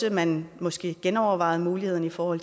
at man måske genovervejede muligheden for